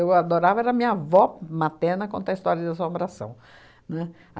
Eu adorava era a minha avó materna contar história da assombração, não é?